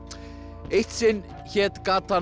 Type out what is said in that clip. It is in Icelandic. eitt sinn hét gatan